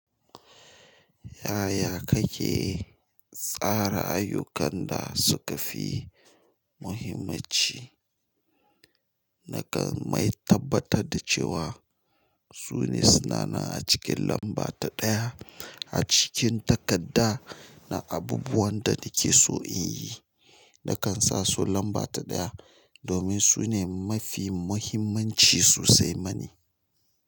Yaya kake tsara ayyukan da suka fi muhimmanci? Nakan mai tabbatar da cewa sune suna nan a cikin lamba ta ɗaya a cikin takarda na abubuwan da nake so in yi. Nakan sa su lamba ta ɗaya domin su ne mafi muhimmanci sosai mani.